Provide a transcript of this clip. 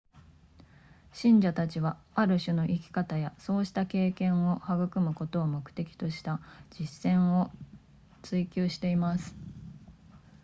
信者たちはある種の生き方やそうした経験を育むことを目的とした実践を追求しています